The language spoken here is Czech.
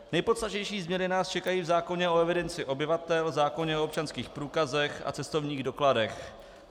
Nejpodstatnější změny nás čekají v zákoně o evidenci obyvatel, zákoně o občanských průkazech a cestovních dokladech.